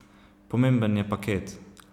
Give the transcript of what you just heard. Pomemben je paket.